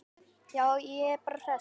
Já, ég er bara hress.